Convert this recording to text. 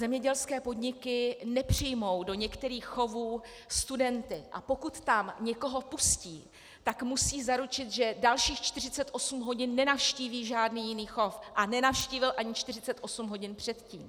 Zemědělské podniky nepřijmou do některých chovů studenty, a pokud tam někoho pustí, tak musí zaručit, že dalších 48 hodin nenavštíví žádný jiný chov a nenavštívil ani 48 hodin předtím.